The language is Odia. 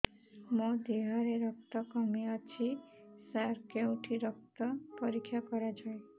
ମୋ ଦିହରେ ରକ୍ତ କମି ଅଛି ସାର କେଉଁଠି ରକ୍ତ ପରୀକ୍ଷା କରାଯାଏ